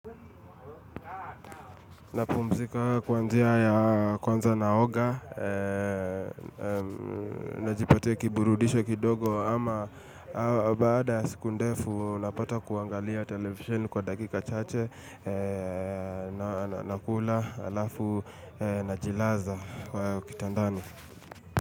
Napumzika kwanzia ya kwanza na oga, najipatia kiburudisho kidogo ama baada ya siku ndefu napata kuangalia televisheni kwa dakika chache, nakula alafu na jilaza kwa kitandani.